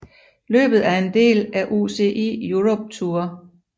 Løbet er en del af UCI Europe Tour